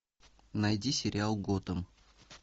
найди сериал готэм